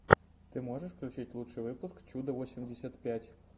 ты можешь включить лучший выпуск чуда восемьдесят пять восемьдесят пять